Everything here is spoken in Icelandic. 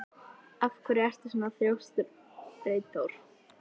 Af hverju ertu svona þrjóskur, Freyþór?